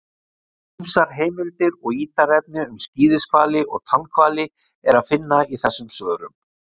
Ýmsar heimildir og ítarefni um skíðishvali og tannhvali er að finna í þessum svörum.